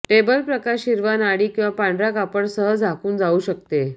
table प्रकाश हिरवा नाडी किंवा पांढरा कापड सह झाकून जाऊ शकते